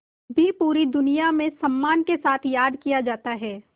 भी पूरी दुनिया में सम्मान के साथ याद किया जाता है